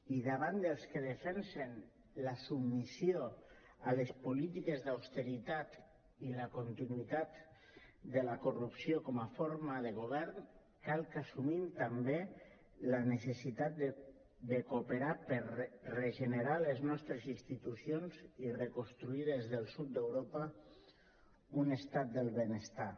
i davant dels que defensen la submissió a les polítiques d’austeritat i la continuïtat de la corrupció com a forma de govern cal que assumim també la necessitat de cooperar per regenerar les nostres institucions i reconstruir des del sud d’europa un estat del benestar